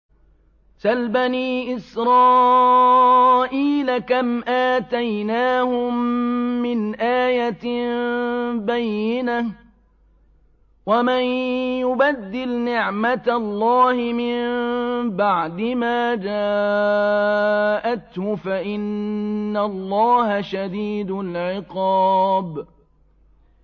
سَلْ بَنِي إِسْرَائِيلَ كَمْ آتَيْنَاهُم مِّنْ آيَةٍ بَيِّنَةٍ ۗ وَمَن يُبَدِّلْ نِعْمَةَ اللَّهِ مِن بَعْدِ مَا جَاءَتْهُ فَإِنَّ اللَّهَ شَدِيدُ الْعِقَابِ